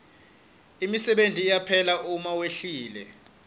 imisebenti iyaphela uma wehlile